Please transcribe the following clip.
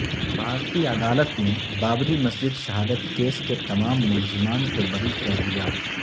بھارتی عدالت نے بابری مسجد شہادت کیس کے تمام ملزمان کو بری کردیا